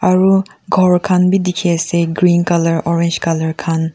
aru ghor khan bi dikhi ase green colour orange colour khan.